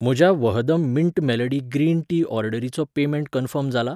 म्हज्या वहदम mint melody green tea ऑर्डरीचो पेमेंट कन्फर्म जाला?